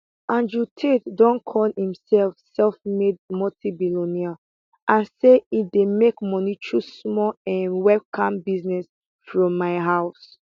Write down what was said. andrew tate don call imself selfmade multimillionaire and say e dey make moni through small um webcam business from my house